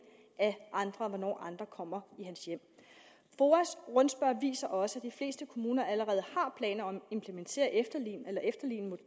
af hvornår andre kommer i hans hjem foas rundspørge viser også at de fleste kommuner allerede har planer om